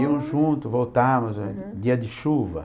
Íamos juntos, voltávamos, dia de chuva.